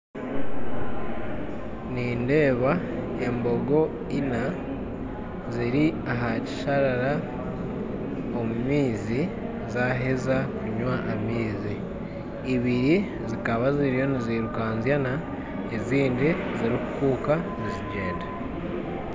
Nindeeba embogo ina ziri ahakisharara omumaizi zaheeza kunywa amaizi, ibiri zikaba nizirukanzyana ezindi ziri kukuka nizigyenda.